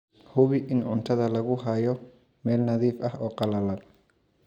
Hubi in cuntada lagu hayo meel nadiif ah oo qallalan.